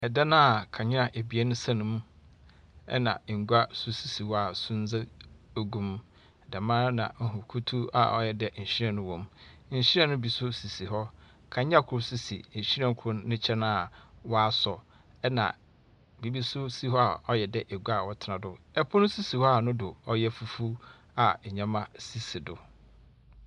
Ɛdan a kanea abien ɛsɛn mu ɛna ngua so sisi hɔ a sundze gugu mu. Dɛmaa na ehu kutuw a ɔyɛ dɛ nwhiren ewom. Nhwiren ne bi nso sisi hɔ. Kanea koro nso si nhwiren ne nkyɛn a wasɔ. Ɛna biribi nso si hɔ a wayɛ dɛ agua a wɔte do. Ɛpono nso si hɔ a ne do ɔyɛ fufu a nneɛma esisi do.